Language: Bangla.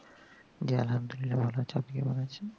জি আল্লাহামদুল্লিয়া ভালো আছি আপনি কেমন আছেন